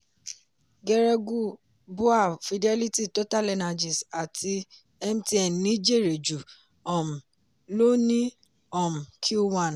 geregu bua fidelity totalenergies àti mtn ni jèrè jù um lọ ní um Q one